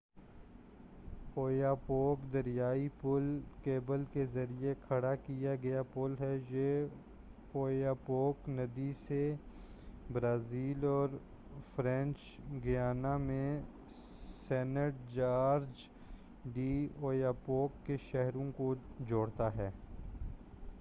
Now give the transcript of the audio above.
Oyapock دریائی پُل cable کے ذریعہ کھڑا کیا گیا پُل ہے یہ اویاپوک ندی سے برازیل اور فرینچ گیانا میں سینٹ جارج ڈی اویاپوک کے شہروں کو جوڑتا ہے